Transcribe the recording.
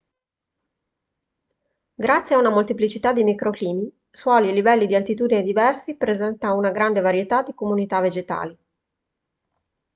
grazie a una molteplicità di microclimi suoli e livelli di altitudine diversi presenta una grande varietà di comunità vegetali